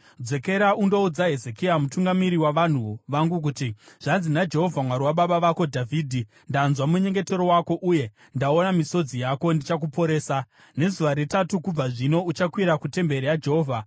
“Dzokera undoudza Hezekia, mutungamiri wavanhu vangu kuti, ‘Zvanzi naJehovha, Mwari wababa vako Dhavhidhi: Ndanzwa munyengetero wako uye ndaona misodzi yako; ndichakuporesa. Nezuva retatu kubva zvino uchakwira kutemberi yaJehovha.